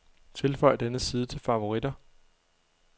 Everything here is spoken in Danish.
Tilføj denne side til favoritter.